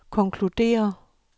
konkluderer